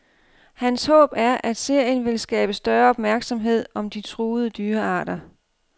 Hans håb er, at serien vil skabe større opmærksomhed om de truede dyrearter.